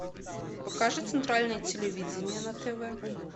покажи центральное телевидение на тв